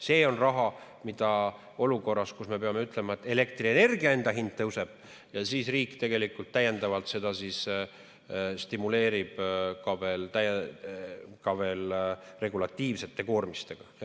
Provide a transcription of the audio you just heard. Me peame ütlema, et olukorras, kus elektrienergia enda hind tõuseb, riik tegelikult täiendavalt stimuleerib seda ka veel regulatiivsete koormistega.